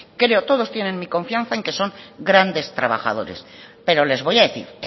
creo todos tienen mi confianza en que son grandes trabajadores pero les voy a decir